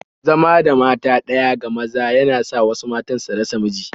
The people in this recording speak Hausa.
Zama da mata ɗaya ga maza yana sa wasu matan su rasa miji